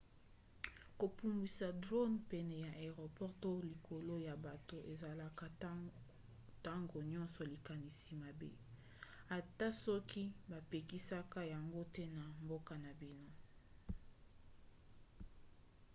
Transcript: kopumbwisa drone pene ya aéroport to likolo ya bato ezalaka ntango nyonso likanisi mabe ata soki bapekisaka yango te na mboka na bino